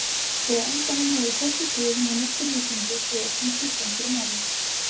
Og á endanum höfðu hvorki guð né nokkur vísindi svör sem skiptu einhverju máli.